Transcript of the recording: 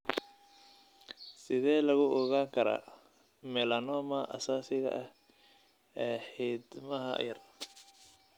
Sidee lagu ogaan karaa melanoma asaasiga ah ee xiidmaha yar?